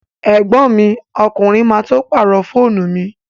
Ẹ̀gbọ́n mi ọkùnrin má tó pàrọ̀ fóònù mi